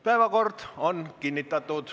Päevakord on kinnitatud.